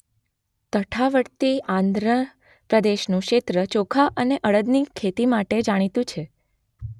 તટવર્તી આંધ્ર પ્રદેશનું ક્ષેત્ર ચોખા અને અડદની ખેતી માટે જાણીતું છે.